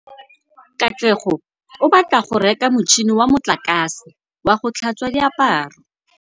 Katlego o batla go reka motšhine wa motlakase wa go tlhatswa diaparo.